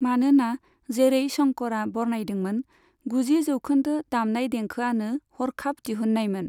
मानोना जेरै शंकरआ बरनायदोंमोन, गुजि जौखोन्दो दामनाय देंखोआनो हरखाब दिहुन्नायमोन।